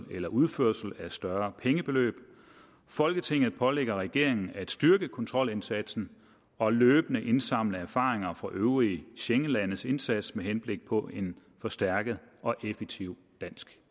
eller udførsel af større pengebeløb folketinget pålægger regeringen at styrke kontrolindsatsen og løbende indsamle erfaringer fra øvrige schengenlandes indsats med henblik på en forstærket og effektiv dansk